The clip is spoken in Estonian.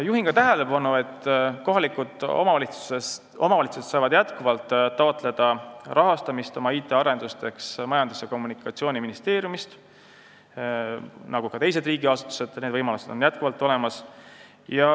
Juhin tähelepanu, et omavalitsused nagu ka teised riigiasutused saavad taotleda oma IT-arenduste rahastamist Majandus- ja Kommunikatsiooniministeeriumist, need võimalused on endiselt olemas.